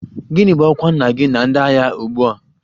Gịnị bụ ọkwa nna gị na ndị agha ugbu a?